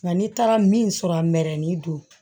Nka n'i taara min sɔrɔ a mɛni don